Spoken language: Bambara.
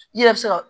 I yɛrɛ bɛ se ka